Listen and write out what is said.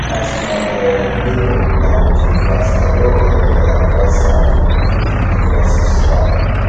as my um nebor na working class i um don advice am to go for evening classes um